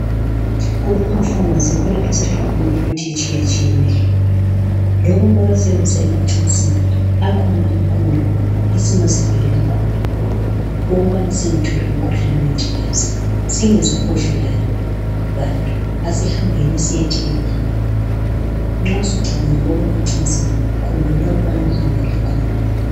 Kulamafamasi yikho esithola khona imithi etshiyatshiyeneyo loba kwabasenza emacasini akhona amacondom esingazivikela khona ukuba singatholi umkhuhlane wengculazi singezwa buvila bantu asihambeni siyethenga nxa usucabangile okwamacansini khumbula ukubana uhambe lecondom.